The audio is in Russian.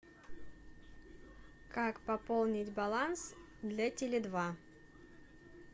как пополнить баланс для теле два